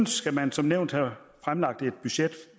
skal man som nævnt have fremlagt et budget